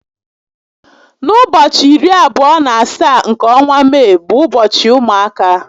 N'ụbọchị iri abụọ na asaá nke ọnwa Mee bụ ụbọchị ụmụaka